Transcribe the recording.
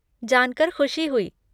जानकर ख़ुशी हुई।